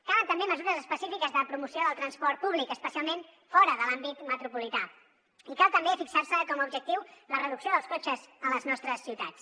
calen també mesures específiques de promoció del transport públic especialment fora de l’àmbit metropolità i cal també fixar se com a objectiu la reducció dels cotxes a les nostres ciutats